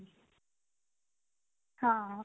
ਹਾਂ